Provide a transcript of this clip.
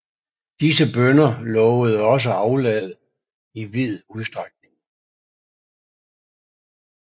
Disse bønner lovede også aflad i vid udstrækning